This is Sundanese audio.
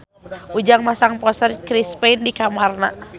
Ujang masang poster Chris Pane di kamarna